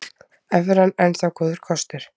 Evran enn þá góður kostur